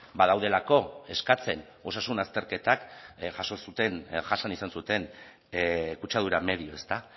badaudelako eskatzen osasun azterketak jaso zuten jasan izan zuten kutsadura medio ezta